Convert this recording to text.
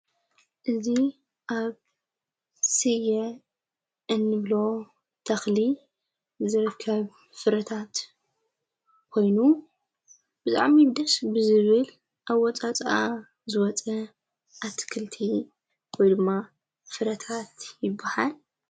እዙ ኣብ ሢየ ኤንብሎ ተኽሊ ዘርፍከብ ፍረታት ኾይኑ ብጣዕይ ደስ ብዝብል ኣወፃፃ ዝወፀ ኣትክልቲ ወይ ድማ ፍረታት ይብሃል።